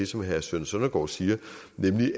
som herre søren søndergaards siger